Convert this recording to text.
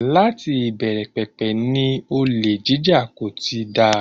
Láti ìbẹ̀rẹ̀pẹ̀pẹ̀ ni olè jíjà kò ti dáa.